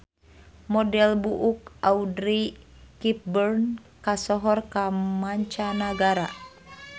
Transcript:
Model buuk Audrey Hepburn kasohor ka manca nagara